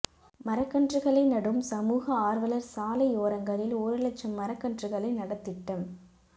மரக்கன்றுகளை நடும் சமூக ஆா்வலா் சாலையோரங்களில் ஒரு லட்சம் மரக் கன்றுகளை நடத் திட்டம்